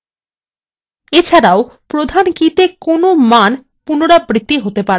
এছাড়াও প্রধান keyতে কোনো মান পুনরাবৃত্তি হতে পারবে না